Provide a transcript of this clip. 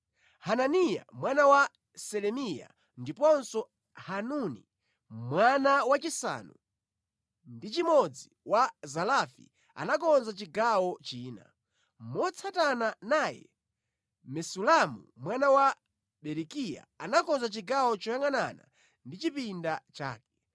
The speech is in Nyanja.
Hananiya mwana wa Selemiya ndiponso Hanuni mwana wachisanu ndi chimodzi wa Zalafi anakonza chigawo china. Motsatana naye, Mesulamu mwana wa Berekiya anakonza chigawo choyangʼanana ndi chipinda chake.